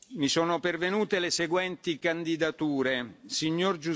Mi sono pervenute le seguenti candidature Sig.